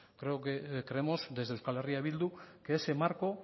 creemos desde eh bildu que ese marco